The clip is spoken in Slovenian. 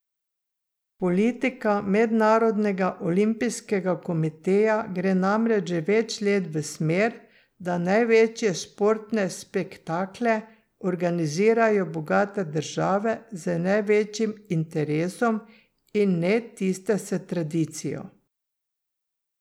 Politika Mednarodnega olimpijskega komiteja gre namreč že več let v smer, da največje športne spektakle organizirajo bogate države z največjim interesom, in ne tiste s tradicijo.